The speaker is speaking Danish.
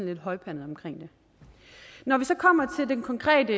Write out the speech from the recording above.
lidt højpandet omkring det når vi så kommer til det konkrete